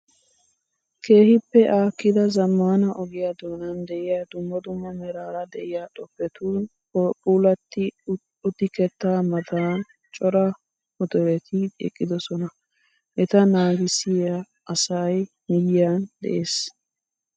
Keehippe aakkida zammaana ogiyaa donan diyaa dumma dumma meraara diya xoppetun puulatti uttikeetta matan cora motoreti eqqidosona. Eta naagiyaa asayi miyyiyan des.